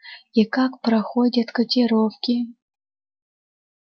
и как проходят котировки